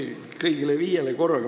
Okei, kas kõigile viiele korraga?